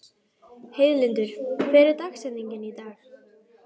Heiðlindur, hver er dagsetningin í dag?